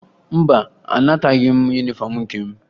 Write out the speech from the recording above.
Mba, anataghị m yunifọmụ nke m